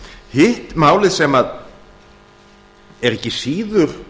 hitt málið sem er ekki síður